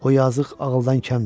o yazıq ağıldan kəmdir.